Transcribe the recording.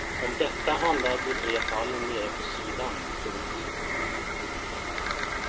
Om detta handlar de tre fallen nere på sidan. punkt